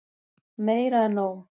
Meira en nóg.